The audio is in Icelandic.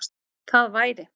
Það væri